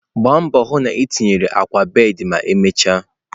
Gbaa mbọ hụ na itinye akwa bed ma emechaa!